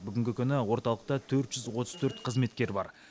бүгінгі күні орталықта төрт жүз отыз төрт қызметкер бар